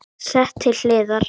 Sett til hliðar.